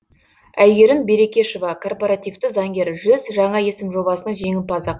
әйгерім берекешова корпоративті заңгер жүз жаңа есім жобасының жеңімпазы